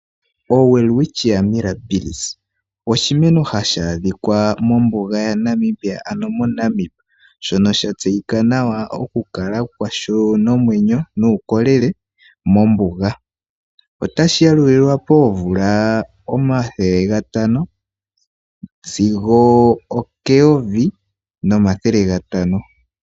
OWelwichia Mirrabills oshimeno hashi adhika mombuga yaNamibia ano moNamib. Shono sha tseyika nawa oku kala kwasho nomwenyo nuukolele mombuga. Otashi yalulilwa koomvula omathele gatano sigo okeyovi nomathele gatano.